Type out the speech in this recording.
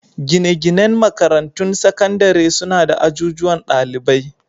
Gine-ginen makarantun sakandare suna da ajujuwan dalibai.